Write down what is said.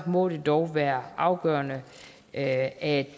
må det dog være afgørende at